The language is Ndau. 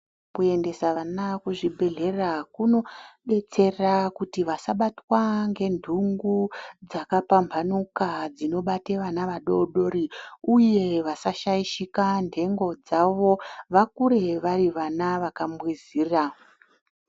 Kuendesa vana kuzvibhedhlera kunobetsera kuti vasabatwa ngenhungu dzakapamhanuka dzinobata vana vadodori, uye vasashaishika nhengo dzavo vakure vari vana vakambwizira.